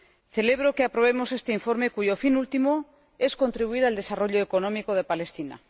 Celebro que aprobemos este informe, cuyo fin último es contribuir al desarrollo económico de Palestina.